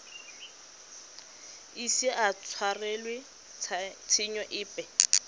ise a tshwarelwe tshenyo epe